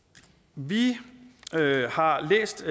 vi har læst